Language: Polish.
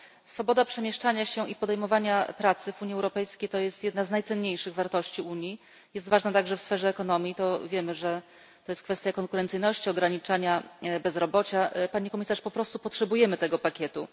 Swoboda przemieszczania się i podejmowania pracy w Unii Europejskiej to jest jedna z najcenniejszych wartości Unii, jest ważna także w sferze ekonomii wiemy, że to jest kwestia konkurencyjności i ograniczania bezrobocia. Pani Komisarz, po prostu potrzebujemy tego pakietu.